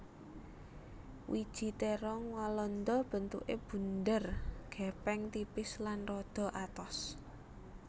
Wiji térong walanda bentuké bunder gèpèng tipis lan rada atos